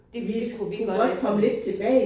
Det kunne vi godt efter